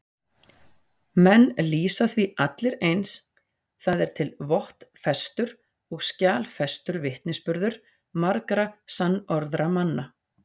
Menn lýsa því allir eins, það er til vottfestur og skjalfestur vitnisburður margra sannorðra manna.